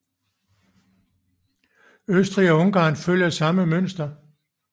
Østrig og Ungarn følger samme mønster